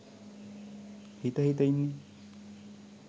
හිත හිත ඉන්නේ.